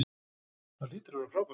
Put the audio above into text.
Það hlýtur að vera frábært.